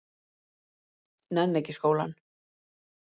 Nenni ekki í skólann.